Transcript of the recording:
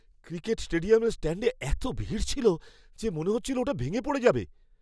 Cricket স্টেডিয়ামের স্ট্যাণ্ডে এত ভিড় ছিল যে মনে হচ্ছিল ওটা ভেঙে পড়ে যাবে।